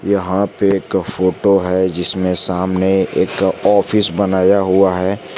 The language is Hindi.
यहां पे एक फोटो है जिसमें सामने एक ऑफिस बनाया हुआ है।